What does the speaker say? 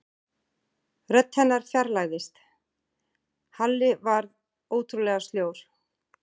Rödd hennar fjarlægðist, Halli varð ótrúlega sljór.